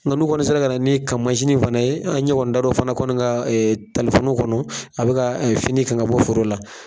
N ga n'u kɔni sera ka na ni kan fana ye, an ɲɛ kɔni da la o fana kɔni kan kɔnɔ a be ka fini kan ka bɔ foro la.